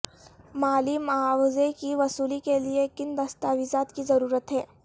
مالی معاوضے کی وصولی کے لئے کن دستاویزات کی ضرورت ہے